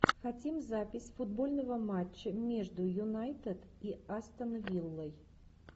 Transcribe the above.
хотим запись футбольного матча между юнайтед и астон виллой